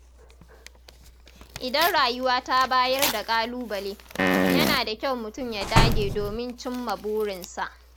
Idan rayuwa ta bayar da ƙalubale, yana da kyau mutum ya dage domin ya cimma burinsa.